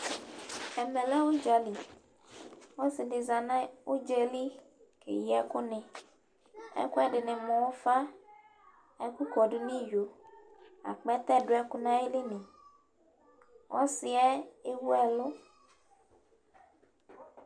ɛmɛ lɛ udza li, ɔsi di za nu udzɛli keyi ɛku ni, ɛku ɛdini mu ufa, ɛku kɔdu nu iyo, akpɛtɛ duɛku nayili ni , ɔsiɛ ewuɛlu